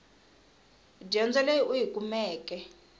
dyondzo leyi u yi kumeke